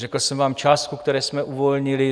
Řekl jsem vám částku, kterou jsme uvolnili.